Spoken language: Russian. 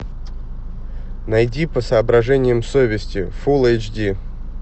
найди по соображениям совести фулл эйч ди